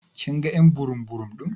Kin gan y'an burum burum din?: